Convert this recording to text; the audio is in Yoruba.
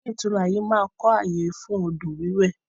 Ilé ìtura yìí máa kọ ayé fún odò wiwẹ̀